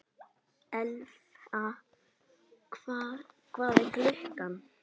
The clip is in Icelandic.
Elfa, hvað er klukkan?